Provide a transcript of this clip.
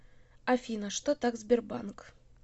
афина что так сбербанк